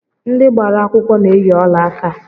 Ndị gbara akwụkwọ na-eyi ọlaaka